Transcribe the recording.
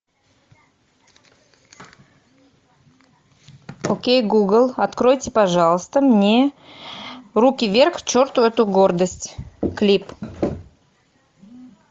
окей гугл откройте пожалуйста мне руки вверх к черту эту гордость клип